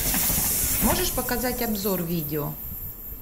можешь показать обзор видео